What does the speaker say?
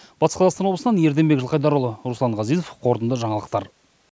батыс қазақстан облысынан ерденбек жылқайдарұлы руслан ғазизов қорытынды жаңалықтар